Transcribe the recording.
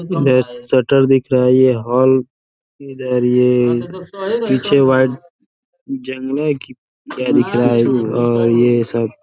Shutter दिख रहा है। ये हॉल इधर ये पीछे वाइट जंगले की तरह दिख रहा है और ये सब --